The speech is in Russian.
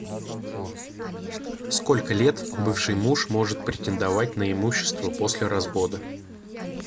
сколько лет бывший муж может претендовать на имущество после развода